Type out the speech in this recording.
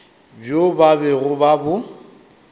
bjo ba bego ba bo